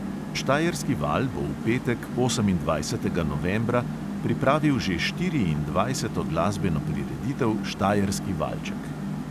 Štajerski val bo v petek, osemindvajsetega novembra, pripravil že štiriindvajseto glasbeno prireditev štajerski valček.